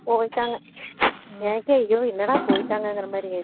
போய்ட்டாங்க எனக்கே ஐயோ என்னடா போய்ட்டாங்ககுறமாறி ஆயிருச்சு